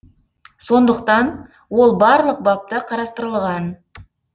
сондықтан ол барлық бапта қарастырылған